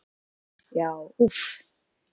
Já úff!